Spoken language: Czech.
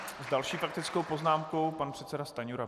S další faktickou poznámkou pan předseda Stanjura.